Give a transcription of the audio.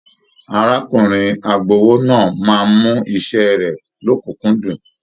Arákùnrin agbowó náà máa mú iṣẹ rẹ l'ọkunkundun.